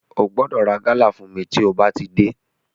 Ó gbọ́dọ̀ ra gálà fún mi tí ó bá ti dé.